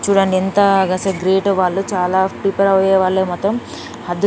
చూడండి ఎంత గ్రేట్ వాళ్ళు చాలా ప్రిపేర్ అయ్యేవాళ్ళే మొత్తం --